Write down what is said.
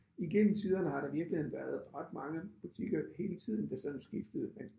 Igennem tiderne har der virkeligheden været ret mange butikker hele tiden der sådan skiftede men